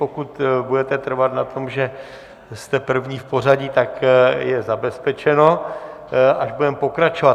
Pokud budete trvat na tom, že jste první v pořadí, tak je zabezpečeno, až budeme pokračovat.